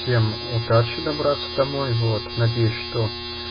всем удачи добраться домой вот надеюсь что